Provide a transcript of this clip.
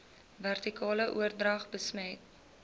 vertikale oordrag besmet